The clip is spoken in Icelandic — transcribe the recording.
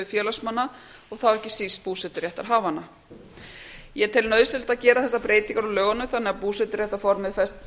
félagsmanna og þá ekki síst búseturéttarhafanna ég tel nauðsynlegt að gera þessar breytingar á lögunum þannig að búseturéttarformið verði fest